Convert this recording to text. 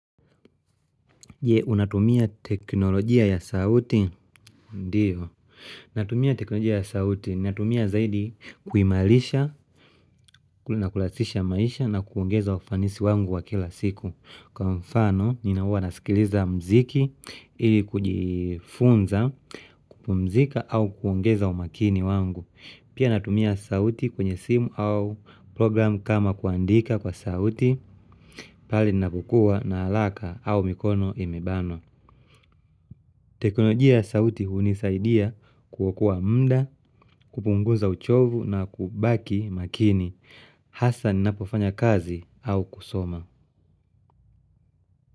Je, unatumia teknolojia ya sauti? Ndio. Natumia teknolojia ya sauti, natumia zaidi kuimarisha na kurahisisha maisha na kuongeza ufanisi wangu wa kila siku. Kwa mfano, huwa nasikiliza mziki, ili kujifunza, kupumzika au kuongeza umakini wangu. Pia, natumia sauti kwenye simu au program kama kuandika kwa sauti pahali ninapokuwa na haraka au mikono imebanwa. Tekonojia sauti hunisaidia kuokoa muda, kupunguza uchovu na kubaki makini. Hasa ninapofanya kazi au kusoma.